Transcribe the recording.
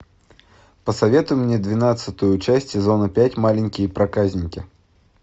посоветуй мне двенадцатую часть сезона пять маленькие проказники